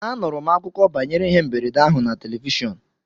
Anụrụ m akụkọ banyere ihe mberede ahụ na telivishọn